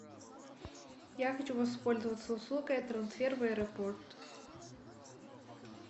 я хочу воспользоваться услугой трансфер в аэропорт